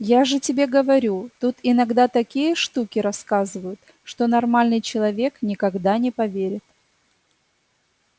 я же тебе говорю тут иногда такие штуки рассказывают что нормальный человек никогда не поверит